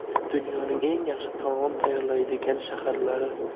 Dunyoning eng yaxshi taom tayyorlaydigan shaharlari .